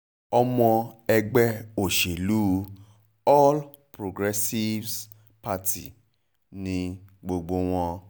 ọmọ ẹgbẹ́ òṣèlú all progressives party ni gbogbo wọn